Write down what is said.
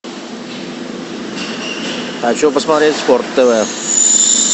хочу посмотреть спорт тв